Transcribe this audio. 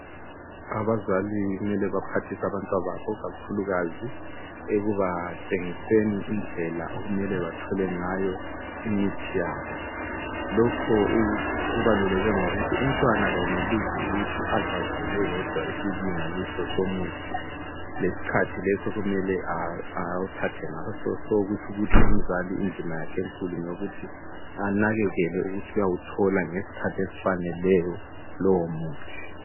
abazali kumele baphathise abantwans babo kakhulukazi ekubatshengiseni indlela okumele bathole ngayo imithi yabo lokho kubaluleke ngokuthi umntwana kayenelisi ukuthi azazele eyedwa isilinganiso somuthi lesikhathi leso okumele awuthathe ngaso kutsho ukuthi umzali indima yakhe enkulu ngeyokuthi anekekele ukuthi uyawuthola ngesikhathi esifaneleyo lowo muthi